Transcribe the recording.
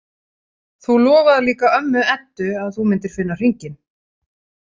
Þú lofaðir líka ömmu Eddu að þú myndir finna hringinn